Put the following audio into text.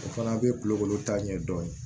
O fana bɛ kulukoro taa ɲɛdɔn